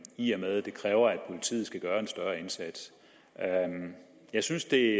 i og med at det kræver at politiet skal gøre en større indsats jeg synes det